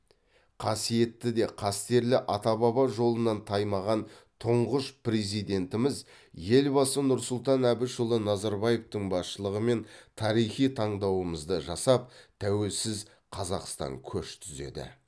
қасиетті де қастерлі ата баба жолынан таймаған тұңғыш президентіміз елбасы нұрсұлтан әбішұлы назарбаевтың басшылығымен тарихи таңдауымызды жасап тәуелсіз қазақстан көш түзеді